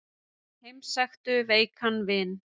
Heimsæktu veikan vin.